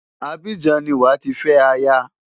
Abidjan ni wàá ti fẹ́ aya.